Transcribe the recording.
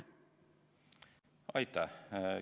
Aitäh!